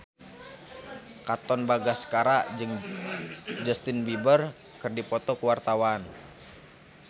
Katon Bagaskara jeung Justin Beiber keur dipoto ku wartawan